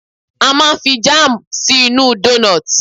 A máa n fi jam sí inú doughnuts